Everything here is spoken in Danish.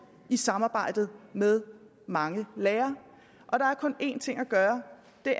i samarbejdet med mange lærere der er kun en ting kan gøre